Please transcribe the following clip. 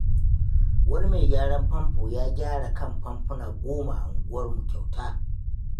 Wani mai gyaran famfo ya gyara kan famfuna goma a unguwarmu kyauta.